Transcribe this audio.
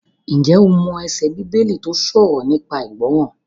Ǹjẹ́ o mọ ẹsẹ Bíbélì tó sọ̀rọ̀ nípa ìgbọràn?